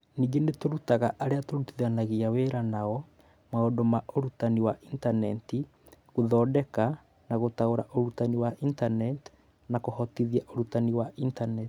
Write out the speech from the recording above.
Ningĩ nĩ tũrutaga arĩa tũrutithanagia wĩra nao maũndũ ma ũrutani wa Intaneti, gũthondeka na gũtaũra ũrutani wa Intaneti na kũhotithia ũrutani wa Intaneti.